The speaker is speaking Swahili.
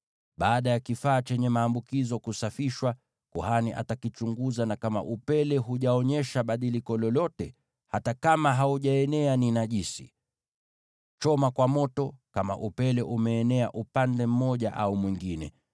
Baada ya kifaa chenye maambukizo kusafishwa, kuhani atakichunguza, na kama upele haujaonyesha badiliko lolote, hata kama haujaenea, ni najisi. Kichome kwa moto, iwe upele umeenea upande mmoja au mwingine.